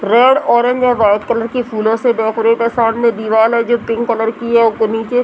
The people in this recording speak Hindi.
red orange a white colour की फूलो से डेकोरेट है सामने दीवाल है जो पिंक कलर की है ओक नीचे --